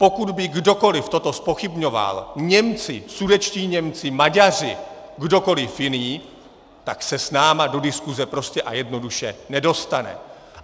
Pokud by kdokoliv toto zpochybňoval, Němci, sudetští Němci, Maďaři, kdokoliv jiný, tak se s námi do diskuse prostě a jednoduše nedostane!